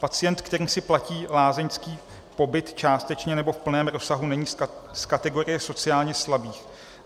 Pacient, který si platí lázeňský pobyt částečně nebo v plném rozsahu, není z kategorie sociálně slabých.